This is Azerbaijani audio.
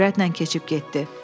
Sürətlə keçib getdi.